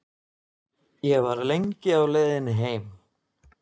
Ég var lengi á leiðinni heim.